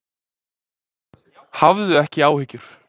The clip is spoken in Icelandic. Hafðu ekki áhyggjur.